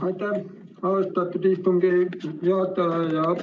Aitäh, austatud istungi juhataja!